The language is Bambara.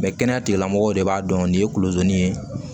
kɛnɛya tigilamɔgɔw de b'a dɔn nin ye kulozani ye